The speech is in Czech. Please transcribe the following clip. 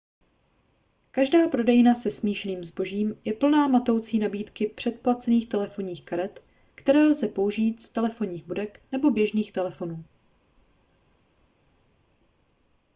každá prodejna se smíšeným zbožím je plná matoucí nabídky předplacených telefonních karet které lze použít z telefonních budek nebo běžných telefonů